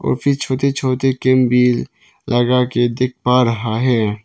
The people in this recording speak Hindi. और ये छोटे छोटे टेंट भी लगाके देख पा रहा है।